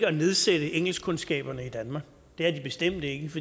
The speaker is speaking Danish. at nedsætte engelskkundskaberne i danmark det er det bestemt ikke